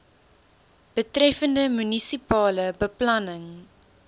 betreffende munisipale beplanning